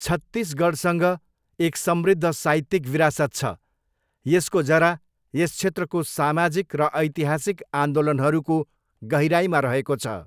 छत्तिसगढसँग एक समृद्ध साहित्यिक विरासत छ, यसको जरा यस क्षेत्रको सामाजिक र ऐतिहासिक आन्दोलनहरूको गहिराइमा रहेको छ।